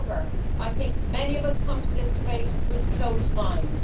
However, I think many of us come to this debate with closed minds